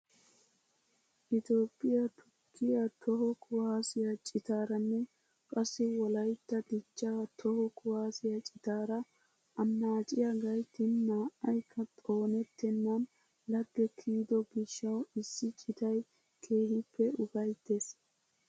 Itoophphiyaa tukkiyaa toho kuwaasiyaa citaaranne qassi wolaytta dichchaa toho kuwasiyaa citaara annaaciyaa gayttin naa"aykka xoonettenan lagge kiyodo giishshawu issi citay keehippe ufayttees!